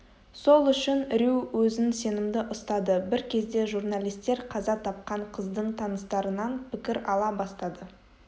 сол үшін рью өзін сенімді ұстады бір кезде журналистер қаза тапқан қыздың таныстарынан пікір ала бастады